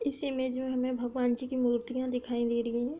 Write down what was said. इस इमेज़ में हमें भगवानजी कि मुर्तिया दिखाई दे रही हैं।